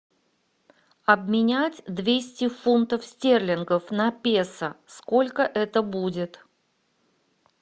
обменять двести фунтов стерлингов на песо сколько это будет